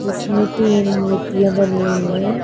जिसमें तीन मूर्तियां बनी हुई हैं।